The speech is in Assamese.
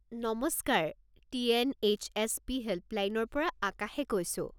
নমস্কাৰ! টি.এন.এইচ.এছ.পি. হেল্পলাইনৰ পৰা আকাশে কৈছোঁ।